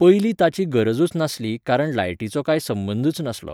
पयलीं ताची गरजूच नासली कारण लायटीचो कांय संबंदच नासलो.